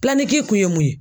kun ye mun ye?